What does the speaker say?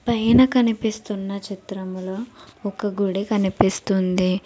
పైన కనిపిస్తున్న చిత్రంలో ఒక గుడి కనిపిస్తుంది.